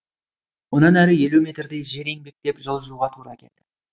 онан әрі елу метрдей жер еңбектеп жылжуға тура келді